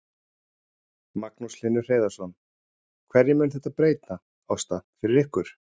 Magnús Hlynur Hreiðarsson: Hverju mun þetta breyta, Ásta, fyrir ykkur?